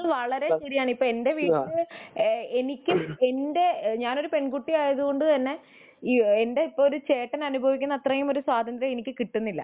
അത് വളരെ ശരിയാണ് ഇപ്പൊ എന്റെ വീട്ടില് എനിക്കും എന്റെ ഞാനൊരു പെൺകുട്ടി ആയതുകൊണ്ട് തന്നെ എന്റെ ചേട്ടൻ അനുഭവിക്കുന്ന ഒരു സ്വാതന്ത്ര്യം എനിക്ക് കിട്ടുന്നില്ല